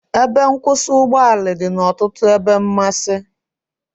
Ebe nkwụsị ụgbọ ala dị n'ọtụtụ ebe mmasị